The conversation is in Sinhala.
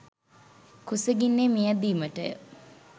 කුසගින්නේ මියැදීමට ය.